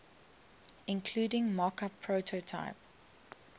including mockup prototype